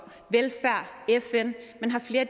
velfærd og fn har flere